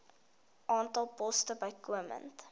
aantal poste bykomend